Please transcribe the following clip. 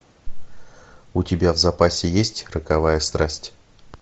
у тебя в запасе есть роковая страсть